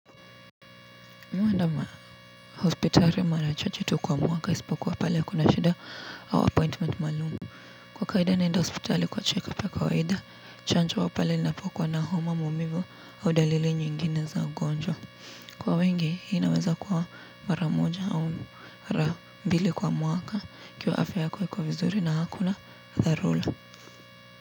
Huandama hospitali mara chache tu kwa mwaka isipokuwa pale kuna shida au appointment maalum. Kwa kawaida naenda hospitali kwa check up ya kawaida, chanjo pale ninapokuwa na homa maumivu au dalili nyingine za ugonjwa. Kwa wengi, hii naweza kuwa mara moja au mara mbili kwa mwaka ikiwa afya iko vizuri na hakuna dharura.